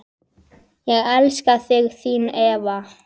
Ég elska þig, þín Eva.